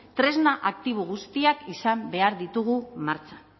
tresna aktibo guztiak izan behar ditugu martxan